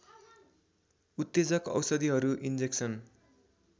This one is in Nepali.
उत्तेजक औषधिहरू इन्जेक्सन